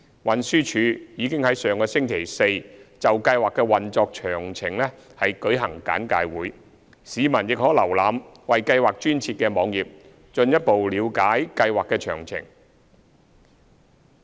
運輸署已於上星期四就計劃的運作詳情舉行簡介會，市民亦可瀏覽為計劃專設的網頁進一步了解計劃的詳情。